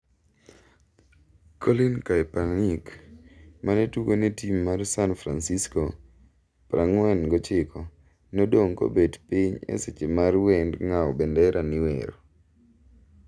Colin Kaepernick, mane tugo ne tim mar San Fransisco, 49, nodong' kobet piny e seche mar wend ng'awo bendera niwero.